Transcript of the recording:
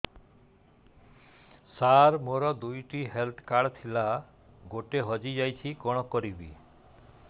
ସାର ମୋର ଦୁଇ ଟି ହେଲ୍ଥ କାର୍ଡ ଥିଲା ଗୋଟେ ହଜିଯାଇଛି କଣ କରିବି